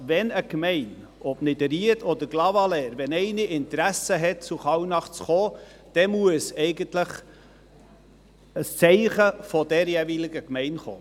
Wenn eine Gemeinde – ob Niederried oder Clavaleyres – ein Interesse hat, zu Kallnach zu kommen, dann muss eigentlich ein Zeichen von der jeweiligen Gemeinde kommen.